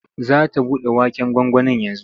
Za ta buɗe waken gwangwanin yanzu.